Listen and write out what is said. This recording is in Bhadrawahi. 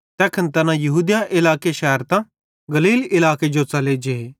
तैखन तैना यहूदिया इलाके शैरतां गलील इलाके जो च़ले जे